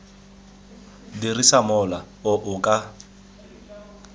dirisa mola o o ka